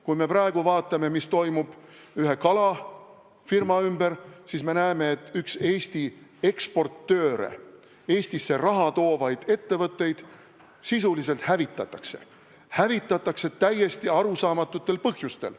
Kui me vaatame, mis toimub praegu ühe kalafirma ümber, siis me näeme, et üks Eesti eksportööre ja Eestisse raha toovaid ettevõtteid sisuliselt hävitatakse, hävitatakse täiesti arusaamatutel põhjustel.